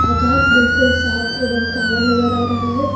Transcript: आकाश बिल्कुल साफ एवं काला नजर आ रहा है।